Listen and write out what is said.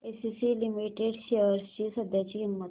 ACC limited shares ची सध्याची किंमत